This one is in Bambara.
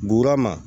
Guwernaman